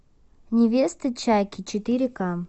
невеста чаки четыре ка